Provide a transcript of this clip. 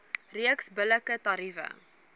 reeks billike tariewe